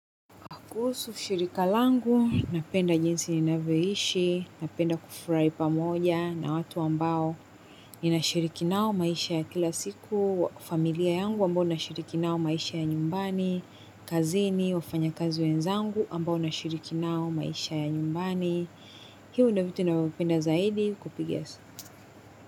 Kuhusu, shirika langu, napenda jinsi ninavyoishi, napenda kufurai pamoja na watu ambao inashiriki nao maisha ya kila siku, familia yangu ambao nashiriki nao maisha ya nyumbani, kazini, wafanya kazi wenzangu ambao nashiriki nao maisha ya nyumbani. Hio ndyo vitu navyopenda zaidi, kupiga.